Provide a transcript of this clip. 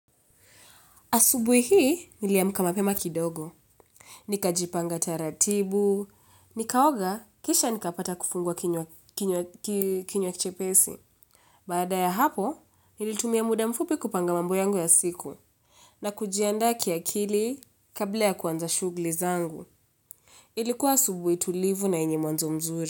Asubuhi hii, niliamka mapema kidogo. Nikajipanga taratibu, nikaoga, kisha nikapata kifunguakinywa chepesi. Baada ya hapo, nilitumia muda mfupi kupanga mambo yangu ya siku. Na kujiandaa kiakili, kabla ya kuanza shughuli zangu. Ilikuwa asubuhi tulivu na yenye mwanzo mzuri.